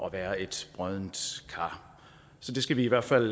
at være et broddent kar så det skal vi i hvert fald